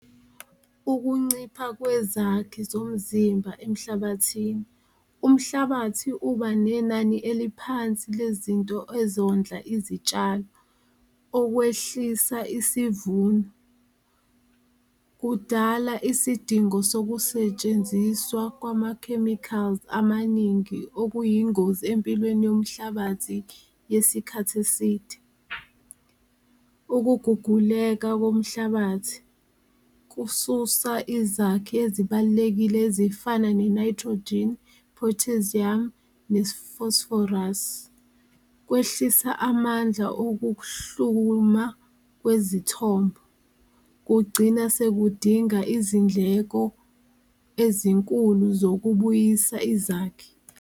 Ukuncipha kwezakhi zomzimba emhlabathini, umhlabathi uba nenani eliphansi lezinto ezondla izitshalo okokwehlisa isivuno, kudala isidingo sokusetshenziswa kwama-chemicals amaningi okuyingozi empilweni yomhlabathi yesikhathi eside. Ukuguguleka komhlabathi kususa izakhi ezibalulekile ezifana ne-nitrogen, potassium, ne-phosphorus, kwehlisa amandla okukuhluma kwezithombo kugcina sekudingeka izindleko ezinkulu zokubuyisa izakhi.